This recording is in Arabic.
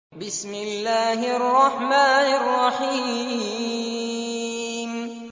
بِسْمِ اللَّهِ الرَّحْمَٰنِ الرَّحِيمِ